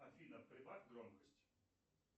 афина прибавь громкость